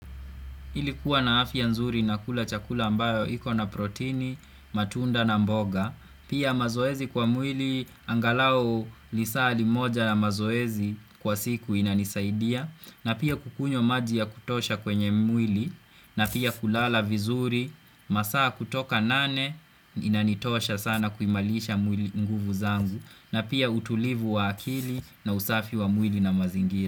Hii ilikuwa na afya nzuri na kula chakula ambayo iko na protini, matunda na mboga, pia mazoezi kwa mwili angalau lisali moja na mazoezi kwa siku inanisaidia, na pia kukunywa maji ya kutosha kwenye mwili, na pia kulala vizuri, masaa kutoka nane inanitosha sana kuimarisha mwili nguvu zangu, na pia utulivu wa akili na usafi wa mwili na mazingiri.